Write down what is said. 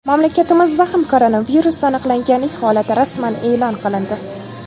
Mamlakatimizda ham koronavirus aniqlanganlik holati rasman e’lon qilindi.